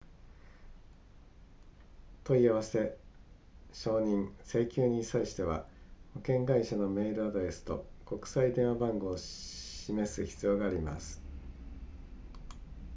問い合わせ承認請求に際しては保険会社のメールアドレスと国際電話番号を示す必要があります